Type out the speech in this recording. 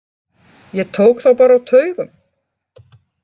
Ég tók þá bara á taugum.